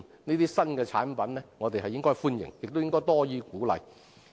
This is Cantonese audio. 我們應該歡迎這些新產品，亦應該多予鼓勵。